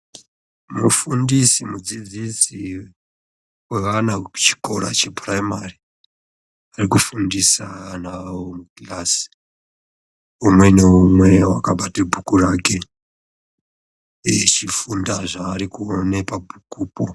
Mufundisi, mudzidzisi wevana kuchikora chepuraimari ari kufundisa ana awo mikirasi, umwe neumwe wakabata bhuku rake eichifunda zvaari kuona pabhukupo.